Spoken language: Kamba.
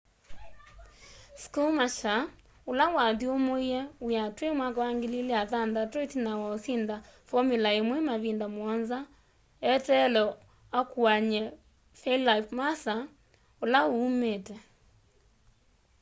schumacher ula wathyumuie wia twi 2006 itina wa usinda formular 1 mavinda muonza eteelwe akuany'e felipe massa ula uumiite